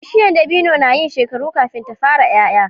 Bishiya dabino nayin shekaru kafin ta fara yaya